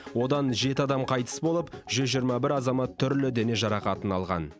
одан жеті адам қайтыс болып жүз жиырма бір азамат түрлі дене жарақатын алған